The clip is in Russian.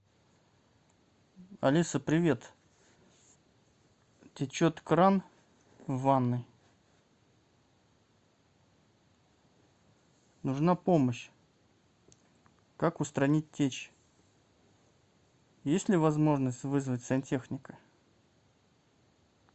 алиса привет течет кран в ванной нужна помощь как устранить течь есть ли возможность вызвать сантехника